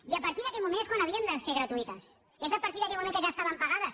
i a partir d’aquell moment és quan havien de ser gratuïtes és a partir d’aquell moment en què ja estaven pagades